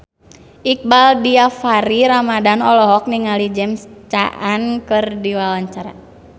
Iqbaal Dhiafakhri Ramadhan olohok ningali James Caan keur diwawancara